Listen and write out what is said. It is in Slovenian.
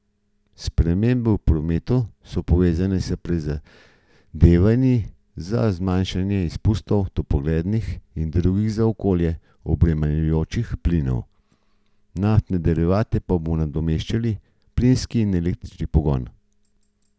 Spremembe v prometu so povezane s prizadevanji za zmanjšanje izpustov toplogrednih in drugih za okolje obremenjujočih plinov, naftne derivate pa bodo nadomeščali plinski in električni pogon.